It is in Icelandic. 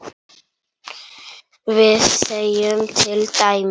við segjum til dæmis